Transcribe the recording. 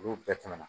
Olu bɛɛ tɛmɛna